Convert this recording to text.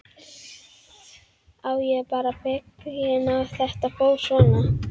Já, ég er bara feginn að þetta fór svona.